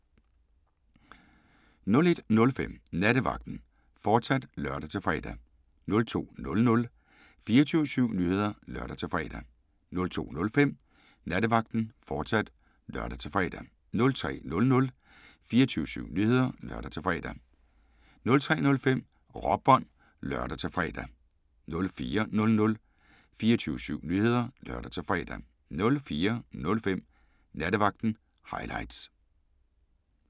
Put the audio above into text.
01:05: Nattevagten, fortsat (lør-fre) 02:00: 24syv Nyheder (lør-fre) 02:05: Nattevagten, fortsat (lør-fre) 03:00: 24syv Nyheder (lør-fre) 03:05: Råbånd (lør-fre) 04:00: 24syv Nyheder (lør-fre) 04:05: Nattevagten – highlights